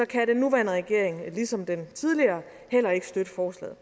kan den nuværende regering ligesom den tidligere heller ikke støtte forslaget